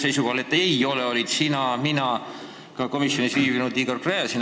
Seisukohal, et ei ole, olid sina, olin mina ja oli ka komisjoni istungil viibinud Igor Gräzin.